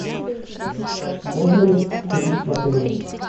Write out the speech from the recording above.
можно ли курить в отеле